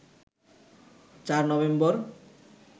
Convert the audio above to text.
৪ November